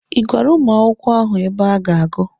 Ị gwara ụmụ akwụkwọ ahụ ebe ha ga-agụ?